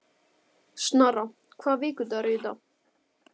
Snorra, hvaða vikudagur er í dag?